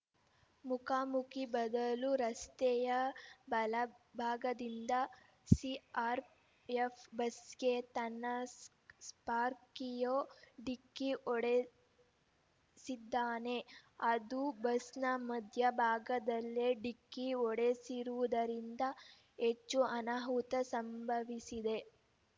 ಮುಖಾಮುಖಿ ಬದಲು ರಸ್ತೆಯ ಬಲಭಾಗದಿಂದ ಸಿಆರ್‌ಎಫ್‌ ಬಸ್‌ಗೆ ತನ್ನ ಸ್ಪಾರ್ಪಿಯೋ ಡಿಕ್ಕಿ ಹೊಡೆಸಿದ್ದಾನೆ ಅದೂ ಬಸ್‌ನ ಮಧ್ಯಭಾಗದಲ್ಲೇ ಡಿಕ್ಕಿ ಹೊಡೆಸಿರುವುದರಿಂದ ಹೆಚ್ಚು ಅನಾಹುತ ಸಂಭವಿಸಿದೆ